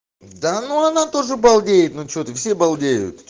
да ну она тоже балдеет ну что ты все балдеют